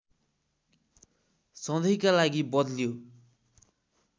सधैँका लागि बद्ल्यो